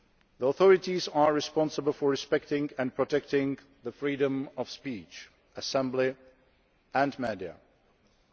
The authorities are responsible for respecting and protecting freedom of speech and assembly and media freedom.